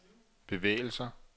bevægelser